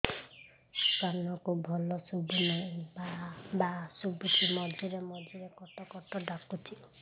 କାନକୁ ଭଲ ଶୁଭୁ ନାହିଁ ଭାଆ ଭାଆ ଶୁଭୁଚି ମଝିରେ ମଝିରେ କଟ କଟ ଡାକୁଚି